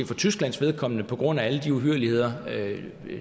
for tysklands vedkommende på grund af alle de uhyrligheder